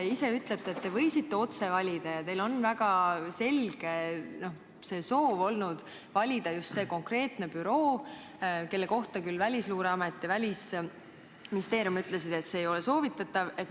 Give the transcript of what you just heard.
Te ise ütlete, et te võisite otse valida ja teil on väga selge soov olnud valida just see konkreetne büroo, kelle kohta küll Välisluureamet ja Välisministeerium ütlesid, et see ei ole soovitatav.